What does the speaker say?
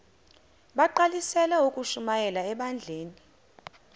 bagqalisele ukushumayela ebandleni